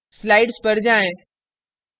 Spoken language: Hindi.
slides पर जाएँ